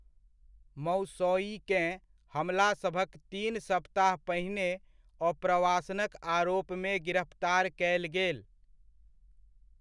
मौसौइकेँ हमलासभक तीन सप्ताह पहिने अप्रवासनक आरोपमे गिरफ्तार कयल गेल।